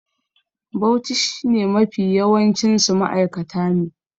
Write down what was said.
Bauchi sh ne Mafi yawancinsu ma'aikata ne